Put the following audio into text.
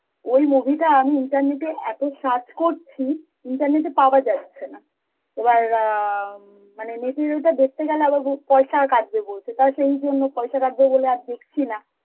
ওই movie টা আমি internet এ এত search করছি, internet এ পাওয়া যাচ্ছে না, এবার অ্যাঁমানে net এর ওটা দেখতে গেলে আবার বল~ পয়েশা কাটবে বলছে, টা সেই জন্য পয়েশা কাটবে বলে আর দেখছি না